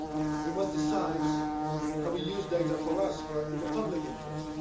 We must decide how we use data for us, in the public interest.